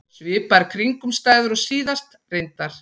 Svipaðar kringumstæður og síðast, reyndar.